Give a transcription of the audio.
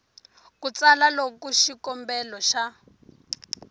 ku tsala loko xikombelo xa